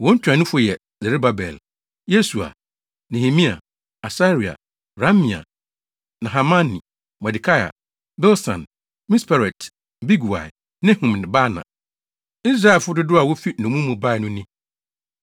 Wɔn ntuanofo yɛ Serubabel, Yesua, Nehemia, Asaria, Raamia, Nahamani, Mordekai, Bilsan, Misperet, Bigwai, Nehum ne Baana. Israelfo dodow a wofi nnommum mu bae no ni: 1